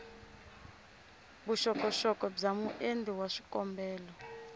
vuxokoxoko bya muendli wa xikombelo